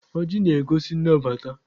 Ọjị na-egosi nnabata.